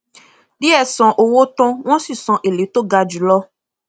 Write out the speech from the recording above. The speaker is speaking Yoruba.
diẹ san owó tán wón sì san èlé to ga jùlọ